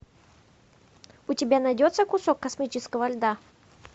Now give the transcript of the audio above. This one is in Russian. у тебя найдется кусок космического льда